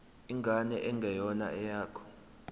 ingane engeyona eyakho